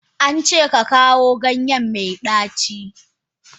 An ce ka kawo ganye mai daci.